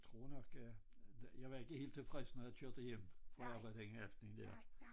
Jeg tror nok at at jeg var ikke helt tilfreds når jeg kørte hjem fra arbejde den aften dér